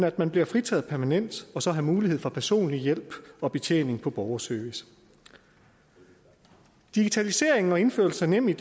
at man bliver fritaget permanent og så har mulighed for personlig hjælp og betjening på borgerservice digitalisering og indførelse af nemid